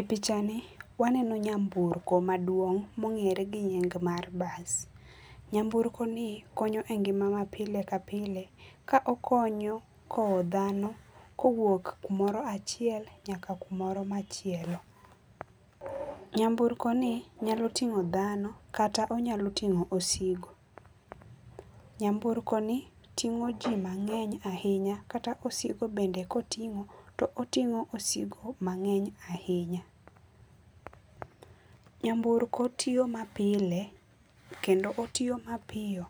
E pichani wanno nyamburko maduong mongere gi nying mar bus. Nyamburko ni konyo e ngima ma pile ka pile ka okonyo kowo dhano kowuok kumoro achiel nyaka kumoro machielo. Nyamburko ni nyalo tingo dhano kata nyalo tingo osigo. Nyamburko ni tingo jii mangeny ahinya kata osigo bend ekotingo tootingo mangeny ahinya. Nyamburko tiyo mapile kendo otiyo mapiyo